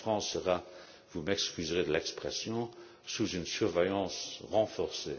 La France sera donc vous m'excuserez de l'expression sous une surveillance renforcée.